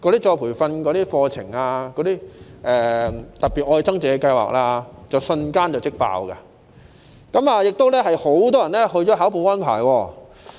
再培訓課程如"特別.愛增值"計劃瞬間即滿額，亦有很多人報考保安牌。